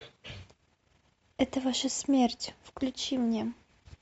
это ваша смерть включи мне